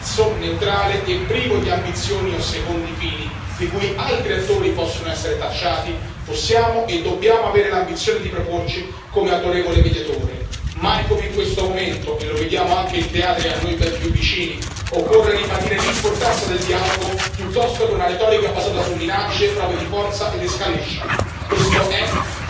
In quanto attore terzo, neutrale e privo di ambizioni o secondi fini di cui altri attori possono essere tacciati, possiamo e dobbiamo avere l'ambizione di proporci come autorevole mediatore mai come in questo momento e lo vediamo anche in teatri a noi ben più vicini occorre ribadire l'importanza del dialogo piuttosto che una retorica basata su minacce e prove di forza ed escalation.